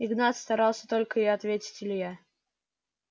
игнат старался только и ответил илья